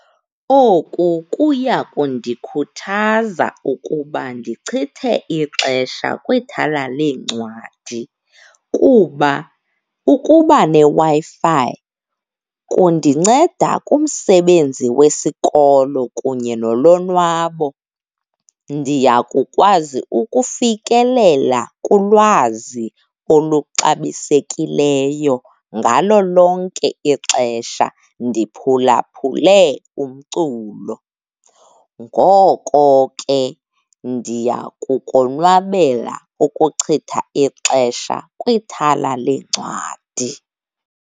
Oku kuya kundikhuthaza ukuba ndichithe ixesha kwithala leencwadi kuba ukuba neWi-Fi kundinceda kumsebenzi wesikolo kunye nolonwabo, ndiyakukwazi ukufikelela kulwazi oluxabisekileyo ngalo lonke ixesha, ndiphulaphule umculo. Ngoko ke, ndiya kukonwaba ukuchitha ixesha kwithala leencwadi.